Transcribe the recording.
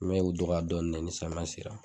bi dɔgɔ dɔɔnin ni samiyɛn sera.